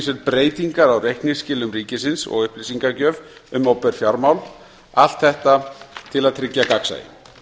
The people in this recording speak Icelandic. sér breytingar á reikningsskilum ríkisins og upplýsingagjöf um opinber fjármál allt þetta til að tryggja gagnsæi